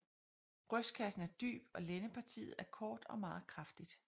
Brystkassen er dyb og lændepartiet er kort og meget kraftig